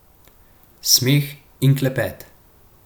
Smeh in klepet.